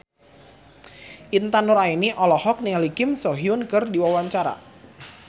Intan Nuraini olohok ningali Kim So Hyun keur diwawancara